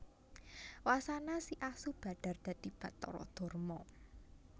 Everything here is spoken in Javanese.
Wasana si asu badhar dadi Bathara Darma